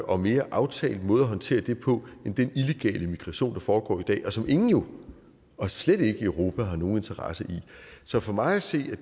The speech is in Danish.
og mere aftalt måde at håndtere det på end den illegale migration der foregår i dag og som ingen jo og slet ikke i europa har nogen interesse i så for mig at se